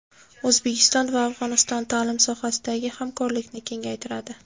O‘zbekiston va Afg‘oniston ta’lim sohasidagi hamkorlikni kengaytiradi.